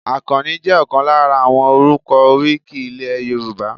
Akanni jẹ́ ọ̀kan lára àwọn orúkọ oríkì ilẹ̀ Yorùbá.